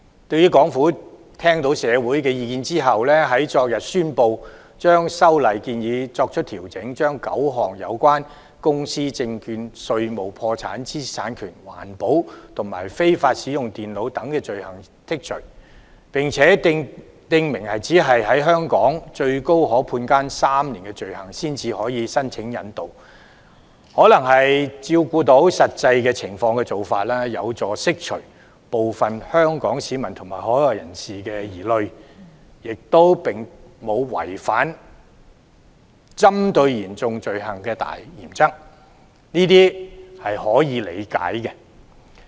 香港政府聽到社會的意見後，昨天宣布調整修例建議，將9項有關公司、證券、稅務、破產、知識產權、環保和非法使用電腦等罪類剔除，並且訂明只有在香港最高可判監3年或以上的罪行才可申請引渡疑犯，可能是要照顧到實際情況，有助釋除部分香港市民和海外人士的疑慮，亦沒有違反針對嚴重罪行的大原則，這些是可以理解的。